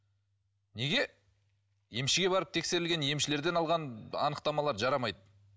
неге емшіге барып тексерілген емшілерден алған анықтамалар жарамайды